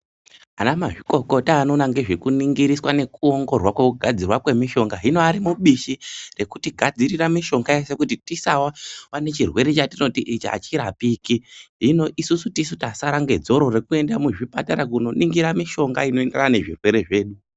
Anamazvikokota anoona ngezvekuningiriswa nokongororwa kwokugadzirwa kwemishonga. Hino ari mubishi rekutigadzirira mishonga yeshe kuti tisawa nechirwere chatinoti ichi achirapiki. Hino isusu tisu tasara nedzoro rekuenda kuchipatara kunoningira mishonga inoenderana nezvirwere zvedu.